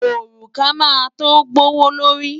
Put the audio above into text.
Òrùka máa tó gbówó lórí.